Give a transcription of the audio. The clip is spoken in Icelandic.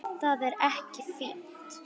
Það er ekkert fínt.